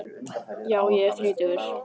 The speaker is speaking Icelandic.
Já ég er þrítugur.